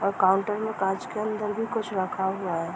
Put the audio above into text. और काउंटर में काँच के अंदर भी कुछ रखा हुआ है।